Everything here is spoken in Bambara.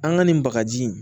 An ka nin bagaji